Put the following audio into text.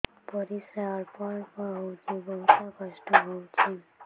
ପରିଶ୍ରା ଅଳ୍ପ ଅଳ୍ପ ହଉଚି ବହୁତ କଷ୍ଟ ହଉଚି